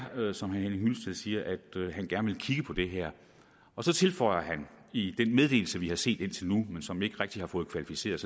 som herre henning hyllested siger at han gerne vil kigge på det her så tilføjer han i den meddelelse vi har set men som vi ikke rigtig har fået kvalificeret